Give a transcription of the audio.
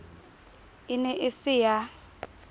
e ne e se ya